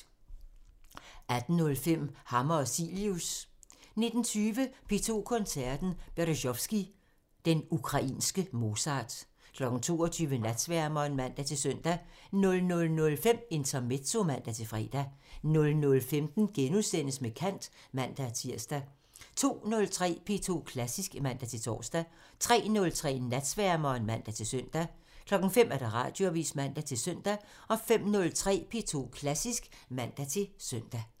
18:05: Hammer og Cilius (man) 19:20: P2 Koncerten – Berezovskij – den ukrainske Mozart 22:00: Natsværmeren (man-søn) 00:05: Intermezzo (man-fre) 00:15: Med kant *(man-tir) 02:03: P2 Klassisk (man-tor) 03:03: Natsværmeren (man-søn) 05:00: Radioavisen (man-søn) 05:03: P2 Klassisk (man-søn)